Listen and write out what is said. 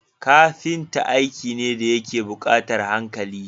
Kafita aiki ne dayake bukatar hankali